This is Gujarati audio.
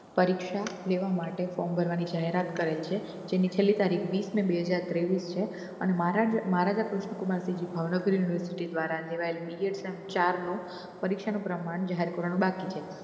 પરીક્ષા લેવા માટે form ભરવાની જાહેરાત કરી છે જેની છેલી તારીખ વીસ ને બે હાજર ત્રેવીસ છે અને મહારાજા કૃષ્ણકુમાર ભાવનગર university દ્વારા લેવાયી BA સેમ ચાર નું પરીક્ષાનું પ્રમાણ જાહેર કરવાનું બાકી છે